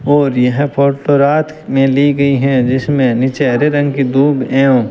और यह फोटो रात में ली गई हैं जिसमें नीचे हरे रंग की दूब एवं --